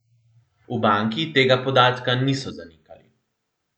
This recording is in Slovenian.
V banki tega podatka niso zanikali.